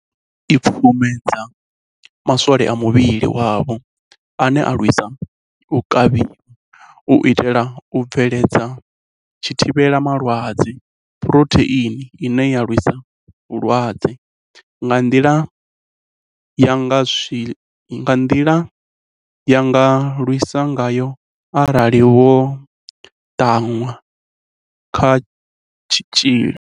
Khaelo i pfumbudza ma swole a muvhili wavho ane a lwisa u kavhiwa, u itela u bveledza zwithivhelama lwadze, Phurotheini ine ya lwisa vhulwadze, nga nḓila ine ya nga lwisa ngayo arali vho ṱanwa kha tshitzhili.